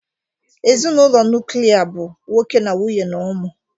Ezinụlọ nuklia bụ nwoke na nwunye na ụmụ